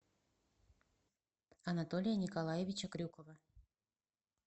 анатолия николаевича крюкова